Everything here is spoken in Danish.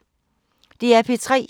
DR P3